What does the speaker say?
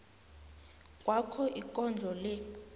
kwakho ikondlo le